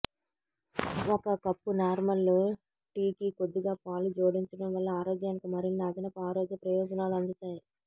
ఒక కప్పు నార్మల్ టీకి కొద్దిగా పాలు జోడించడం వల్ల ఆరోగ్యానికి మరిన్ని అదనపు ఆరోగ్య ప్రయోజనాలు అందుతాయి